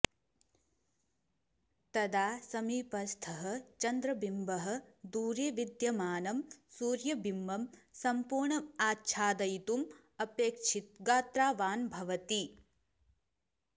तदा समीपस्थः चन्द्रबिम्बः दूरे विद्यमानं सूर्यबिम्बं सम्पूर्णमाच्छादयितुम् अपेक्षितगात्रवान् भवति